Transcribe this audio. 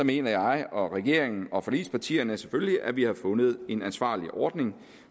mener jeg og regeringen og forligspartierne selvfølgelig at vi har fundet en ansvarlig ordning